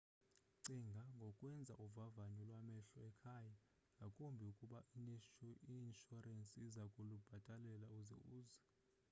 cinga ngokwenza uvavanyo lwamehlo ekhaya ngakumbi ukuba i-inshurensi iza kulubhatalela uze uze